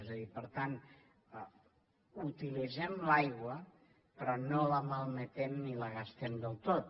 és a dir per tant utilitzem l’aigua però no la malmetem ni la gastem del tot